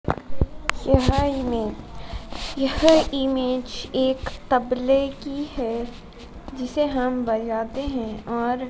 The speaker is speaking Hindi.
यह इमेज यह इमेज एक तबले की है जिसे हम बजाते हैं और--